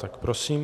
Tak prosím.